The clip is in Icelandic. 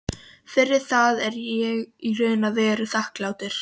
Fyrir það er ég í raun og veru þakklátur.